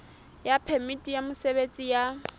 ya phemiti ya mosebetsi ya